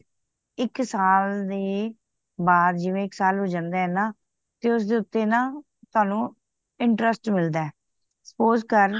ਇੱਕ ਸਾਲ ਦੇ ਬਾਦ ਜਿਵੇਂ ਇੱਕ ਸਾਲ ਹੋ ਜਾਂਦਾ ਨਾ ਤੇ ਉਸ ਦੇ ਉੱਤੇ ਤਵਾਨੁ interest ਮਿਲਦਾ suppose ਕਰ